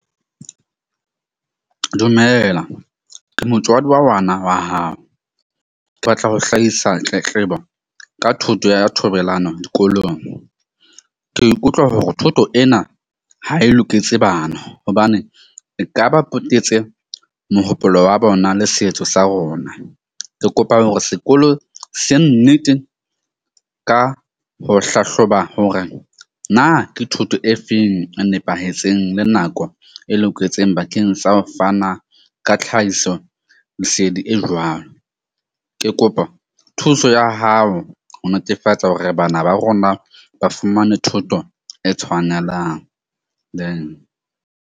Dumela, ke motswadi wa ngwana wa hao, ke batla ho hlahisa tletlebo ka thoto ya thobelano dikolong. Ke ikutlwa hore thuto ena ha e loketse bana. Hobane e kaba potetse mohopolo wa bona le setso sa rona. Ke kopa hore sekolo se nnete ka ho hlahloba hore na ke thoto e feng e nepahetseng le nako e loketseng. Bakeng sa ho fana ka tlhahiso lesedi e jwalo. Ke kopa thuso ya hao ho netefatsa hore bana ba rona ba fumane thuto e tshwanelang, then.